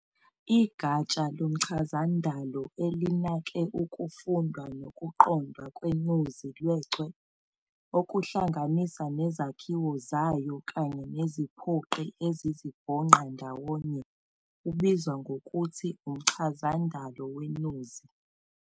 Igatsha lomchazandalo elinake ukufundwa nokuqondwa kwenuzi lechwe, okuhlanganisa nezakhiwo zayo kanye neziphoqi ezizibhonqa ndawonye, ubizwa ngokuthi umchazandalo wenuzi.